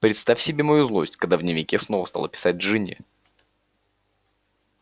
представь себе мою злость когда в дневнике снова стала писать джинни